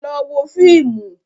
Lọ wo fíìmù.